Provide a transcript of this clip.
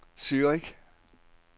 Zürich